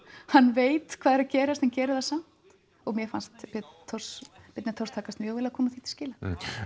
hann veit hvað er að gerast en gerir það samt mér fannst Björn Thors Thors takast mjög vel að koma því til skila